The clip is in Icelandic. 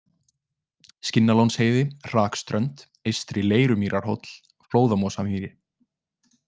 Skinnalónsheiði, Hrakströnd, Eystri-Leirumýrarhóll, Flóðamosamýri